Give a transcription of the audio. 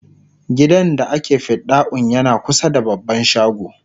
gidan da ake fidda'un yana kusa da baban shago